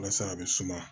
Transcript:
Walasa a bɛ suma